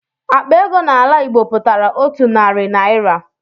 Akpa ego n'ala Igbo pụtara otu narị naira.